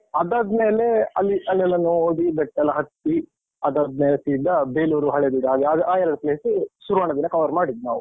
ಅದಾದ್ಮೇಲೆ ಅಲ್ಲಿ ಅಲ್ಲೆಲ್ಲ ನೋಡಿ ಬೆಟ್ಟ ಎಲ್ಲ ಹತ್ತಿ, ಅದಾದ್ಮೇಲೆ ಸೀದ ಬೇಲೂರು, ಹಳೇಬೇಡು ಆ ಯಾದ್ ಆ ಎರಡು place ಶುರುವಿನ ದಿನ cover ಮಾಡಿದ್ದು ನಾವು.